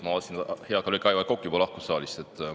Ma vaatasin, et hea kolleeg Aivar Kokk juba lahkus saalist.